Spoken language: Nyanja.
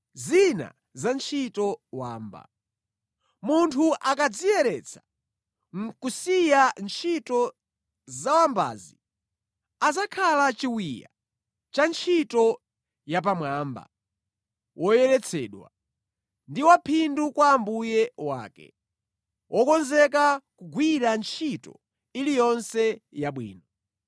Munthu akadziyeretsa nʼkusiya ntchito za wambazi, adzakhala chiwiya cha ntchito yapamwamba, woyeretsedwa, ndi waphindu kwa Ambuye wake, wokonzeka kugwira ntchito iliyonse yabwino.